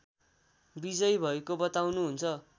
विजयी भएको बताउनुहुन्छ